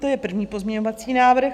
To je první pozměňovací návrh.